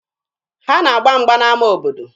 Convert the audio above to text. Ha na-agba mgba n'ama obodo.